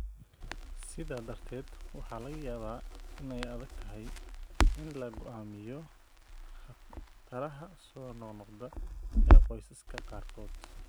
Sidaa darteed, waxa laga yaabaa in ay adagtahay in la go'aamiyo khataraha soo noqnoqda ee qoysaska qaarkood.